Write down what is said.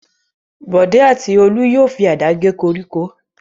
Bọ̀dé àti Olú yóò fi àdá gé koríko.